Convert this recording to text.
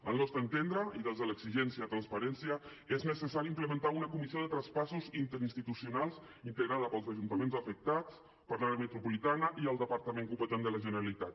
al nostre entendre i des de l’exigència de transparència és necessari implementar una comissió de traspassos interinstitucionals integrada pels ajuntaments afectats per l’àrea metropolitana i el departament competent de la generalitat